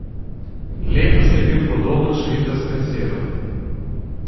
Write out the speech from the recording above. Letos je bil podoben švicarskemu siru.